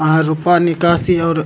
वहाँ रूपा निकासी और --